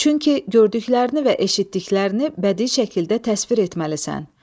Çünki gördüklərini və eşitdiklərini bədii şəkildə təsvir etməlisən.